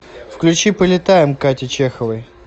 включи полетаем кати чеховой